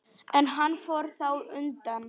En hann fór þá undan.